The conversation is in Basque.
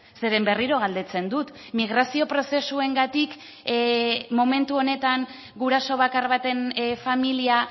zeren berriro galdetzen dut migrazio prozesuengatik momentu honetan guraso bakar baten familia